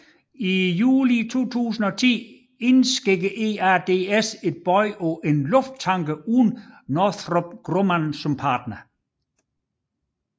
I juli 2010 indsendte EADS et bud på en lufttanker uden Northrop Grumman som partner